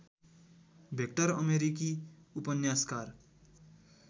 vector अमेरिकी उपन्यासकार